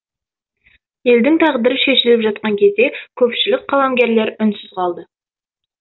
елдің тағдыры шешіліп жатқан кезде көпшілік қаламгерлер үнсіз қалды